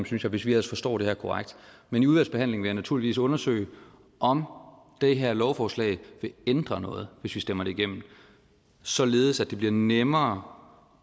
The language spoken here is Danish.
synes jeg hvis vi ellers forstår det korrekt men i udvalgsbehandlingen vil jeg naturligvis undersøge om det her lovforslag vil ændre noget hvis vi stemmer det igennem således at det bliver nemmere